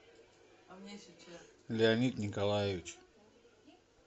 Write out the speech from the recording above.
леонид николаевич